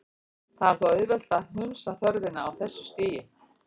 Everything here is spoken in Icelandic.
Það er þó auðvelt að hunsa þörfina á þessu stigi.